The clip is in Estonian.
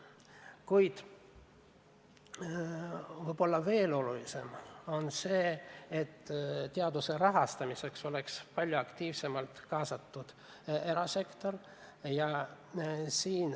Kuid võib-olla veel olulisem on seisukoht, et teaduse rahastamiseks oleks palju aktiivsemalt vaja kaasata erasektorit.